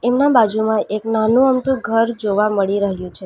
બાજુમાં એક નાનો અમથું ઘર જોવા મળી રહ્યું છે.